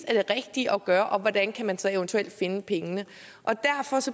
er det rigtige at gøre og hvordan man så eventuelt kan finde pengene